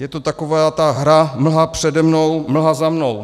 Je to taková ta hra mlha přede mnou, mlha za mnou.